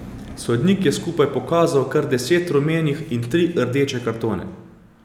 Sodnik je skupaj pokazal kar deset rumenih in tri rdeče kartone.